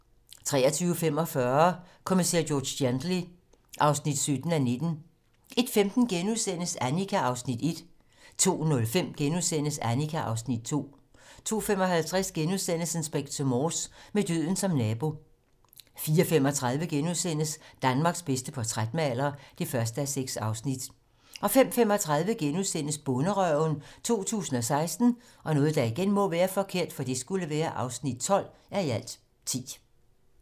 23:45: Kommissær George Gently (17:19) 01:15: Annika (Afs. 1)* 02:05: Annika (Afs. 2)* 02:55: Inspector Morse: Med døden som nabo * 04:35: Danmarks bedste portrætmaler (1:6)* 05:35: Bonderøven 2016 (12:10)*